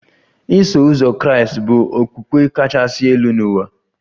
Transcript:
Iso uzọ Kraịst bụ okpukpe kachasị elu n'ụwa